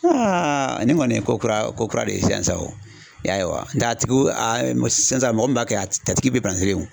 ne kɔni ye ko kura ko kura de ye sisan sa o , i y'a ye wa nga a tigiw mɛ sisan mɔgɔ min b'a kɛ a tigi bɛ